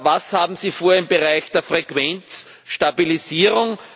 Was haben Sie vor im Bereich der Frequenzstabilisierung?